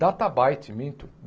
DataByte, minto.